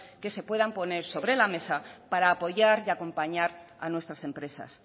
que se puedan poner sobre la mesa para apoyar y acompañar a nuestras empresas